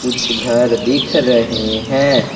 कुछ घर दिख रहे हैं।